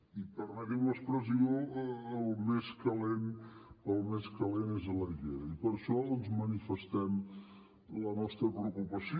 i permeti’m l’expressió el més calent és a l’aigüera i per això manifestem la nostra preocupació